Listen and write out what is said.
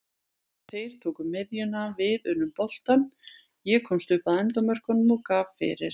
Þeir tóku miðjuna, við unnum boltann, ég komst upp að endamörkum og gaf fyrir.